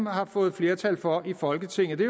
har fået flertal for i folketinget det